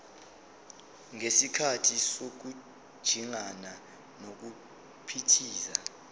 ngesikhathi sokujingana nokuphithiza